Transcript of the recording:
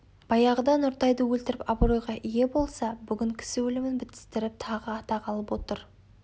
баяғыда нұртайды өлтіріп абыройға ие болса бүгін кісі өлімін бітістіріп тағы атақ алып отыр